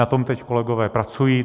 Na tom teď kolegové pracují.